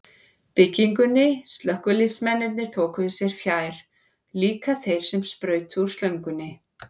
byggingunni, slökkviliðsmennirnir þokuðu sér fjær, líka þeir sem sprautuðu úr slöngunum.